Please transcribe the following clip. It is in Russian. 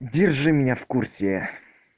держи меня в курсе